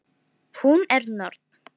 Hún er norn.